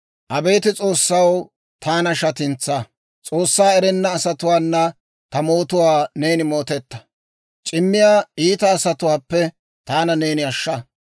Abeet S'oossaw, taana shatintsaa. S'oossaa erenna asatuwaana ta mootuwaa neeni mootetta. C'immiyaa iita asatuwaappe taana neeni ashsha.